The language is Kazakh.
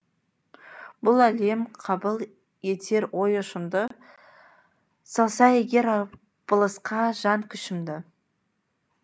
бұл әлем қабыл етер ой ұшымды салса егер арпалысқа жан күшімді